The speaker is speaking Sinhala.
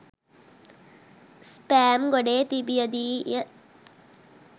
ස්පෑම් ගොඩේ තිබිය දී ය.